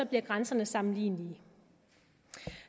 bliver grænserne sammenlignelige